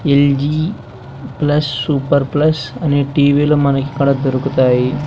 L G plus super plus అనే T V లు మనకికడ దొరుకుతాయి.